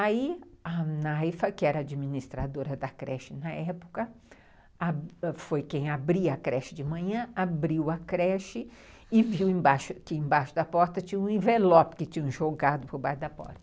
Aí a Naifa, que era administradora da creche na época, foi quem abria a creche de manhã, abriu a creche e viu que embaixo da porta tinha um envelope que tinham jogado por baixo da porta.